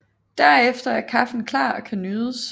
Derefter er kaffen klar og kan nydes